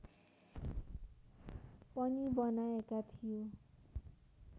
पनि बनाएका थियो